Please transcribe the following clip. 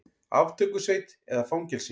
Aftökusveit eða fangelsi?